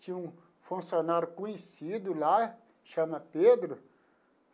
Tinha um funcionário conhecido lá, chama Pedro.